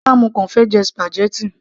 rárá, mo kàn fẹ́ jẹ spaghetti